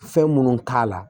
Fɛn munnu k'a la